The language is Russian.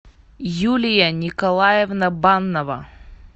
юлия николаевна баннова